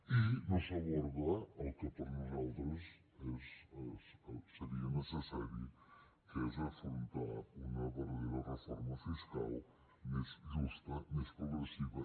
i no s’aborda el que per nosaltres seria necessari que és afrontar una verdadera reforma fiscal més justa més progressiva